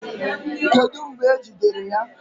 Kedu mgbe e jidere ya?